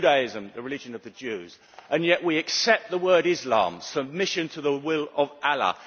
Judaism the religion of the Jews and yet we accept the word Islam submission to the will of Allah.